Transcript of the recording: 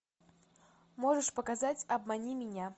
можешь показать обмани меня